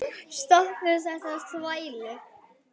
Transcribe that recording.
Stoppum þessa þvælu.